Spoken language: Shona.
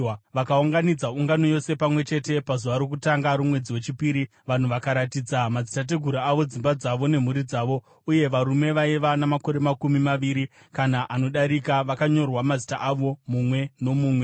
vakaunganidza ungano yose pamwe chete pazuva rokutanga romwedzi wechipiri. Vanhu vakaratidza madzitateguru avo, dzimba dzavo nemhuri dzavo, uye varume vaiva namakore makumi maviri kana anodarika vakanyorwa mazita avo mumwe nomumwe,